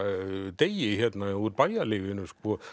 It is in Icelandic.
Degi hérna úr bæjarlífinu